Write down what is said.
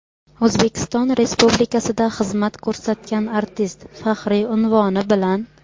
"O‘zbekiston Respublikasida xizmat ko‘rsatgan artist" faxriy unvoni bilan.